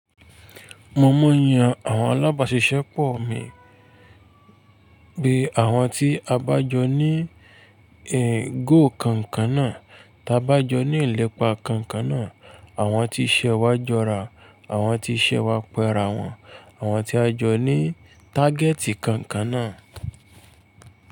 Mo mọ yàn àwọn alábàáṣiṣẹ́ pọ̀ mi, bí i àwọn tí a bá jọ ní èrò kankan náà, ta bá jọ ní ìlépa kankan náà, àwọn tí iṣẹ́ wa jọra, àwọn tí iṣẹ́ wa pẹ́ra wọn, àwọn tí a jọ ní tágẹ́tì kankan náà.